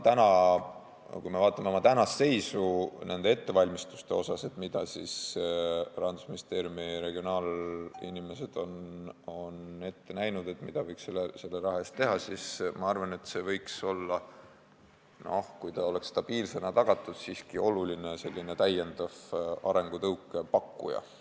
Kui me vaatame nende ettevalmistuste tänast seisu, mida Rahandusministeeriumi regionaalarenguga tegelevad inimesed on ette näinud, et mida võiks selle raha eest teha, siis ma arvan, et see võiks olla, kui see oleks stabiilsena tagatud, siiski oluline täiendav arengutõuke pakkuja.